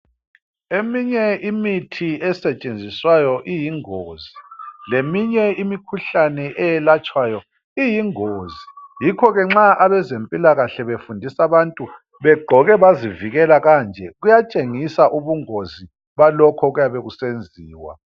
Eminye imithi esetshenziswayo iyingozi. leminye imikhuhlane eyelatshwayo iyingozi. Yikho ke nxa abezempilakahle befundisa abantu , begqoke bazivikela kanje kuyatshengisa ubungozi balokho okuyabe kusenziwa.